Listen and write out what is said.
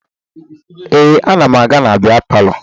Ee, ana m aga na bịa palọ